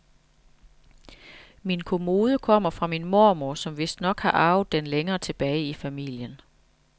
Min kommode kommer fra min mormor, som vistnok har arvet den længere tilbage i familien.